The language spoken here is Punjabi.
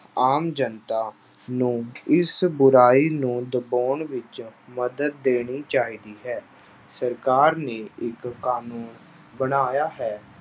ਆਮ ਜਨਤਾ ਨੂੰ ਇਸ ਬੁਰਾਈ ਨੂੰ ਦਬਾਉਣ ਵਿੱਚ ਮਦਦ ਦੇਣੀ ਚਾਹੀਦੀ ਹੈ, ਸਰਕਾਰ ਨੇ ਇੱਕ ਕਾਨੂੰਨ ਬਣਾਇਆ ਹੈ,